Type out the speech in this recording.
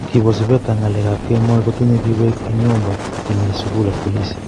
Kibo sipeta ak ng'alekak kemoi kotinye kiwek en nyomba chemi mi sugul ak polisi.